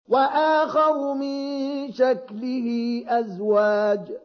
وَآخَرُ مِن شَكْلِهِ أَزْوَاجٌ